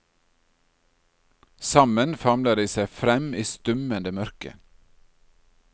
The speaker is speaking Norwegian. Sammen famler de seg frem i stummende mørke.